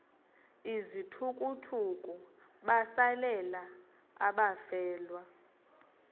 izithukuthuku besalela abafelwa